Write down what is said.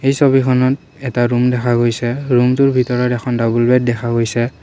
এই ছবিখনত এটা ৰূম দেখা গৈছে ৰূমটোৰ ভিতৰত এখন ডাবুল বেড দেখা গৈছে।